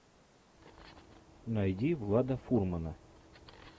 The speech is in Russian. найди влада фурмана